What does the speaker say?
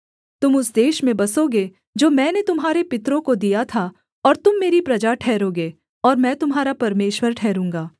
तुम उस देश में बसोगे जो मैंने तुम्हारे पितरों को दिया था और तुम मेरी प्रजा ठहरोगे और मैं तुम्हारा परमेश्वर ठहरूँगा